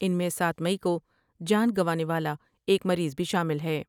ان میں سات مئی کو جان گنوانے والا ایک مریض بھی شامل ہے ۔